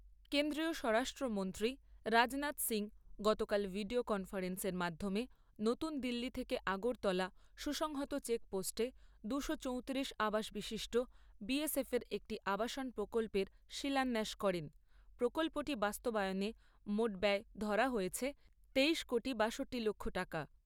কেন্দ্রীয় স্বরাষ্ট্রমন্ত্রী রাজনাথ সিংহ গতকাল ভিডিও কনফারেন্সের মাধ্যমে নতুন দিল্লি থেকে আগরতলা সুসংহত চেক পোস্টে দুশো চৌতিরিশ আবাস বিশিষ্ট বিএসএফ এর একটি আবাসন প্রকল্পের শিলান্যাস করেন। প্রকল্পটি বাস্তবায়নে মোট ব্যয় ধরা হয়েছে তেইশ কোটি বাষট্টি লক্ষ টাকা।